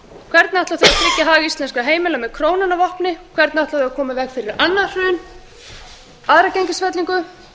hvernig ætla þau að tryggja hag íslenskra heimila með krónuna að vopni hvernig ætla þau að koma í veg fyrir annað hrun aðra gengisfellingu